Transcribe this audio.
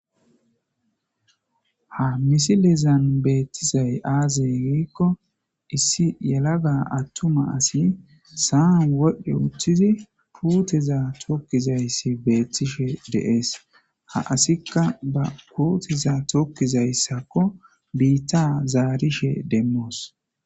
ha misilizan beettizay aazey giikko issi yalaga attuma asi saan wodhdhe uththizi puuteza tokkizayssi beettishe deees ha asikka ba puutiza tokkizayssakko biitta zaarishe demmoos